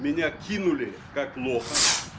меня кинули как лоха